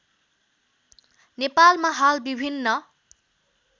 नेपालमा हाल विभिन्न